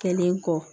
Kɛlen kɔ